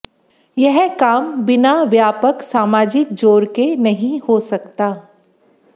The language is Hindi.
यह काम बिना व्यापक सामाजिक जोर के नहीं हो सकता